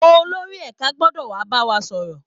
Olórí ẹ̀ka gbọ́dọ̀ wà á bá wa sọ̀rọ̀